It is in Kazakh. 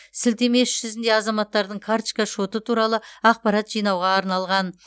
сілтеме іс жүзінде азаматтардың карточка шоты туралы ақпарат жинауға арналған